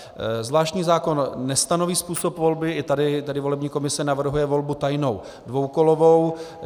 Zvláštní zákon nestanoví způsob volby, i tady volební komise navrhuje volbu tajnou dvoukolovou.